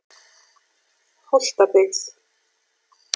Holtabyggð